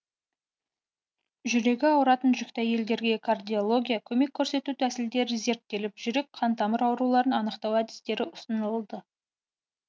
жүрегі ауыратын жүкті әйелдерге кардиология көмек көрсету тәсілдері зерттеліп жүрек қантамыр ауруларын анықтау әдістері ұсынылды